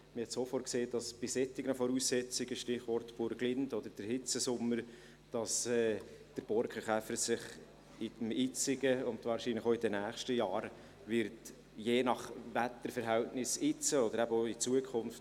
Man sah sofort, dass sich bei solchen Voraussetzungen – Stichwort Burglind oder der Hitzesommer – der Borkenkäfer in diesem Jahr, und wahrscheinlich auch in den nächsten Jahren, stark oder sehr stark vermehren wird, je nach Wetterverhältnissen jetzt und in Zukunft.